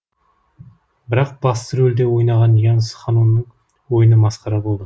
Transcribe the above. бірақ басты рольде ойнаған янс ханноның ойыны масқара болды